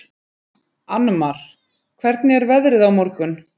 Annmar, hvernig er veðrið á morgun?